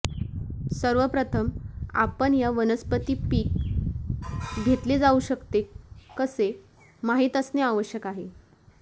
सर्व प्रथम आपण या वनस्पती पीक घेतले जाऊ शकते कसे माहित असणे आवश्यक आहे